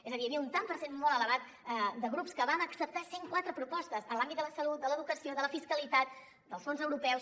és a dir hi havia un tant per cent molt elevat de grups que vam acceptar cent quatre propostes en l’àmbit de la salut de l’educació de la fiscalitat dels fons europeus